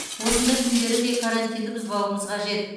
осындай күндері де карантинді бұзбауымыз қажет